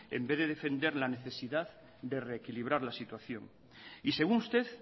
en vez de defender la necesidad de reequilibrar la situación y según usted